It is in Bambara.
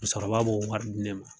Musokɔrɔba b'o wari di ne ma.